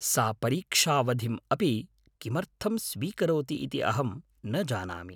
सा परीक्षावधिम् अपि किमर्थं स्वीकरोति इति अहं न जानामि।